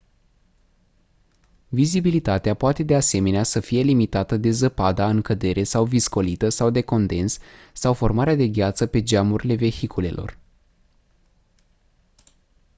vizibilitatea poate de asemenea să fie limitată de zăpada în cădere sau viscolită sau de condens sau formarea de gheață pe geamurile vehiculelor